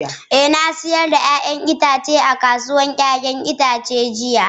Eh na sayar da 'ya'yan itatuwa a kasuwar 'ya'yan itace jiya.